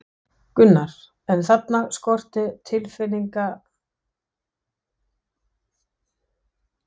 Gunnar, en þarna skorti tilfinnanlega mælingar.